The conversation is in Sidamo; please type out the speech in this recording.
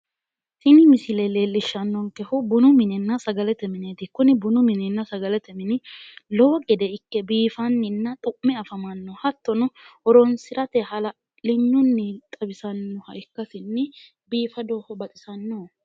Tini misile leellishshannonkehu bunu minenna sagalete mineeti. Kuni bunu minunna sagalete mini lowo gede ikke biifanninna xu'me afamanno. Hattono horoonsirate hala'linyunni xawisannoha ikkasinni biifadoho baxisannoho.